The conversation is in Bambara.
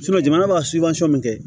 jamana b'a min kɛ